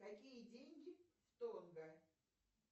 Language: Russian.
какие деньги в тонго